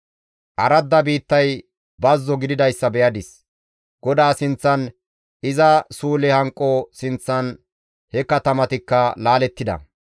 Aradda biittay bazzo gididayssa be7adis; GODAA sinththan, iza suule hanqo sinththan he katamatikka laalettida.